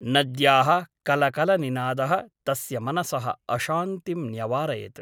नद्याः कलकलनिनादः तस्य मनसः अशान्तिं न्यवारयत् ।